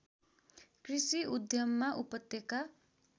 कृषि उद्यममा उपत्यका